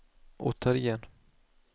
återigen